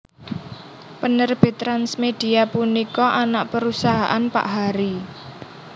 Penerbit TransMedia punika anak perusahaan Pak Harry